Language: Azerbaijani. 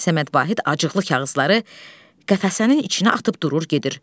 Səməd Vahid acıqlı kağızları qəfəsənin içinə atıb durur gedir.